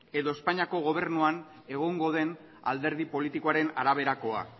edo espainiako gobernuan egongo den alderdi politikoaren araberakoa